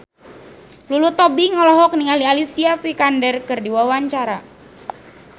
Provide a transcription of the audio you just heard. Lulu Tobing olohok ningali Alicia Vikander keur diwawancara